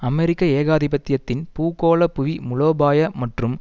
அமெரிக்க ஏகாதிபத்தியத்தின் பூகோள புவி மூலோபாய மற்றும்